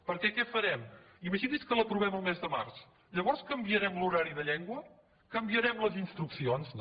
perquè què farem imagini’s que l’aprovem el mes de març llavors canviarem l’horari de llengua canviarem les instruccions no